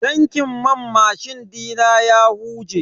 Tankin man mashin dina ya huje.